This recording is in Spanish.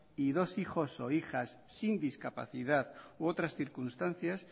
y dos hijos o hijas sin discapacidad u otras circunstancias